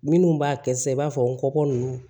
Minnu b'a kɛ sisan i b'a fɔ n kɔkɔ ninnu